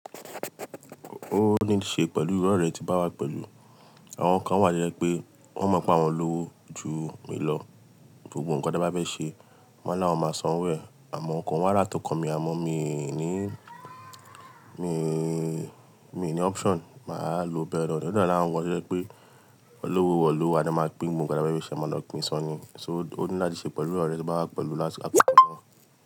Ó ní ṣe pẹ̀lú iru orẹ tí n bá wá pẹ̀lú. Àwọn kan wà to je pé wọ́n mọ̀ pé àwọn lówo ju mi lọ. Gbogbo nǹkan tí a bá fẹ́ ṣe, wọ́n máa lá àwọn máa san wo e. Àmọ́ ǹkan wọn là to okan mi, àmọ́ mi nìí, mi nìí, mi nìí option. Mà á lo bẹrẹ ọ̀rẹ́. Òótọ́ ni àwọn wọ yẹ pé olówó wọ̀ ló wa tí a máa pín gbogbo nǹkan tí a bá fẹ́ ṣe. Wọ́n máa lòpin san ni. So ó ní láti ṣe pẹ̀lú irọ́ rẹ tí bá wá pẹ̀lú lásíkọ̀ kan náà.